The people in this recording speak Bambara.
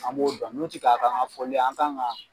An b'o dɔn n'u tɛ k'a kɛ an ka fɔli ye an kan ka